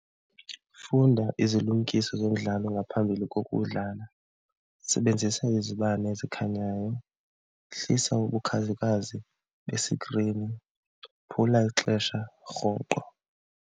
Funda izilumkiso zomdlalo ngaphambili kokudlala, sebenzisa izibane ezikhanyayo, hlisa ubukhazikhazi besikrini, phula ixesha rhoqo.